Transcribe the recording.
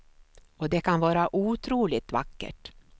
Och det kan vara otroligt vackert.